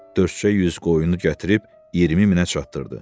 Dördcə yüz qoyunu gətirib 20 minə çatdırdı.